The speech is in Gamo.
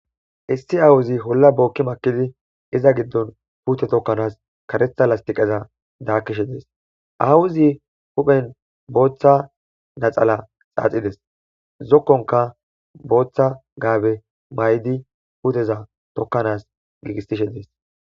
Issi awuzi holla bookki makkidi iza giddon puute tokkanas karetha lastiqeza daakkishe dees awuzi huphen booththa naxala xaaxides zokkonka booththa gaabe may,di huteza tokkanas giigistishe dees.